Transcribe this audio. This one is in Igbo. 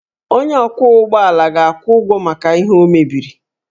Onye ọkwọ ụgbọ ala ga-akwụ ụgwọ maka ihe o mebiri